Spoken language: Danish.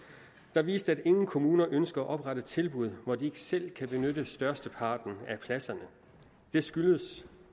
den viste at ingen kommuner ønsker at oprette tilbud hvor de ikke selv kan benytte størsteparten af pladserne det skyldes